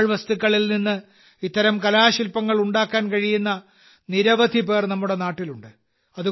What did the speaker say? പാഴ്വസ്തുക്കളിൽ നിന്ന് ഇത്തരം കലാശില്പങ്ങൾ ഉണ്ടാക്കാൻ കഴിയുന്ന നിരവധിപേർ നമ്മുടെ നാട്ടിൽ ഉണ്ട്